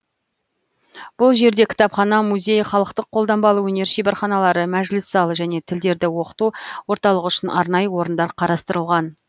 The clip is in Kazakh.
бұл жерде кітапхана музей халықтық қолданбалы өнер шеберханалары мәжіліс залы және тілдерді оқыту орталығы үшін арнайы орындар қарастырылған